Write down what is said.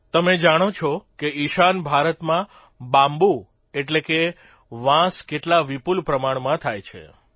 તમે જાણો જ છો કે ઇશાન ભારતમાં બામ્બુ એટલે કે વાંસ કેટલા વિપુલ પ્રમાણમાં થાય છે